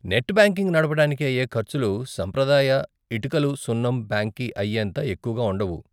Net banking నడపటానికి అయే ఖర్చులు సాంప్రదాయిక ఇటుకలు సున్నం బ్యాంక్కి అయ్యేంత ఎక్కువగా ఉండవు.